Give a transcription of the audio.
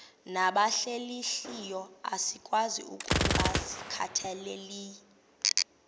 nabahlehliyo asikwazi ukungazikhathaieli